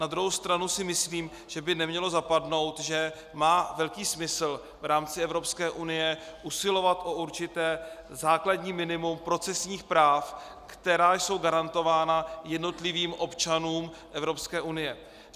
Na druhou stranu si myslím, že by nemělo zapadnout, že má velký smysl v rámci Evropské unie usilovat o určité základní minimum procesních práv, která jsou garantována jednotlivým občanům Evropské unie.